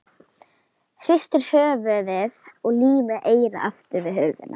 Hristir höfuðið og límir eyrað aftur við hurðina.